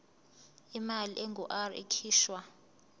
imali engur ikhishwa